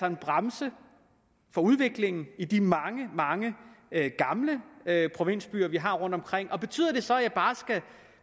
en bremse for udviklingen i de mange mange gamle provinsbyer vi har rundtomkring i landet betyder det så at